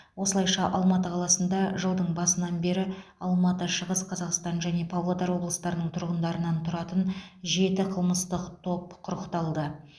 осылайша алматы қаласында жылдың басынан бері алматы шығыс қазақстан және павлодар облыстарының тұрғындарынан тұратын жеті қылмыстық топ құрықталды